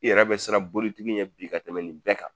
I yɛrɛ bɛ siran bolitigi ɲɛ bi ka tɛmɛ nin bɛɛ kan.